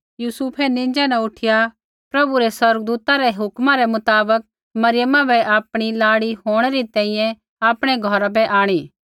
यूसुफै नींज़ा न उठिया प्रभु रै स्वर्गदूतै रै हुक्मा रै मुताबक मरियमा बै आपणी लाड़ी होंणै री तैंईंयैं आपणै घौरा बै आंणी